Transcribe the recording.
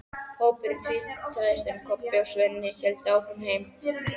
Hópurinn tvístraðist, en Kobbi og Svenni héldu áfram heim.